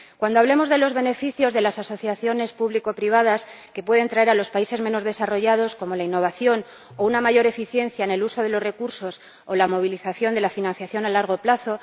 cuando hablemos de los beneficios que las asociaciones público privadas pueden traer a los países menos desarrollados, como la innovación o una mayor eficiencia en el uso de los recursos, o la movilización de la financiación a largo plazo